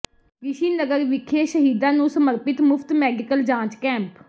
ਰਿਸ਼ੀ ਨਗਰ ਵਿਖੇ ਸ਼ਹੀਦਾਂ ਨੂੰ ਸਮਰਪਿਤ ਮੁਫ਼ਤ ਮੈਡੀਕਲ ਜਾਂਚ ਕੈਂਪ